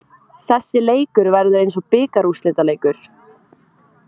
Þessi leikur verður eins og bikarúrslitaleikur.